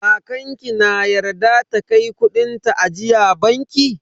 Kakan ki na yarda ta kai kudin ta ajiya banki?